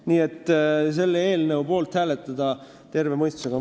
Nii et terve mõistusega inimesel on selle eelnõu poolt hääletada võimatu.